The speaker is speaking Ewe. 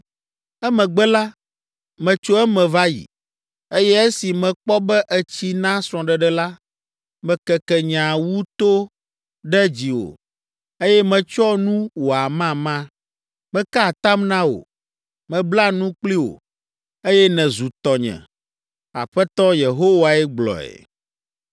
“Emegbe la, metso eme va yi, eye esi mekpɔ be ètsi na srɔ̃ɖeɖe la, mekeke nye awu to ɖe dziwò, eye metsyɔ nu wò amama. Meka atam na wò, mebla nu kpli wò, eye nèzu tɔnye. Aƒetɔ Yehowae gblɔe.